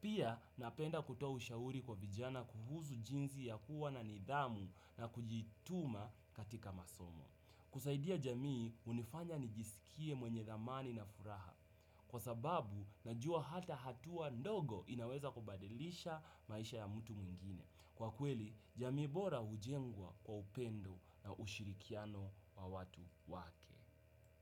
Pia napenda kutoa ushauri kwa vijana kuhusu jinsi ya kuwa na nidhamu na kujituma katika masomo. Kusaidia jamii unifanya nijisikie mwenye dhamani na furaha. Kwa sababu najua hata hatua ndogo inaweza kubadilisha maisha ya mutu mwingine. Kwa kweli jamii bora ujengwa kwa upendo na ushirikiano wa watu wake.